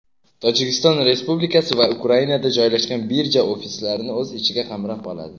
Tojikiston Respublikasi va Ukrainada joylashgan birja ofislarini o‘z ichiga qamrab oladi.